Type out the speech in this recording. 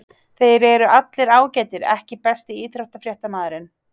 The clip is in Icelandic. Þeir eru allir ágætir EKKI besti íþróttafréttamaðurinn?